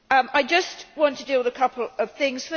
I just want to deal with a couple of things.